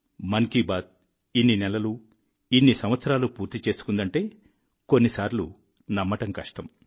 మన్ కీ బాత్ ఇన్ని నెలలు ఇన్ని సంవత్సరాలు పూర్తి చేసుకుందంటే కొన్నిసార్లు నమ్మడం కష్టం